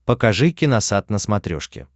покажи киносат на смотрешке